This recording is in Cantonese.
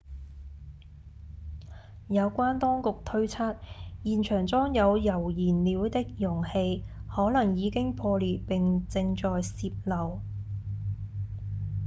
有關當局推測現場裝有鈾燃料的容器可能已經破裂並正在洩漏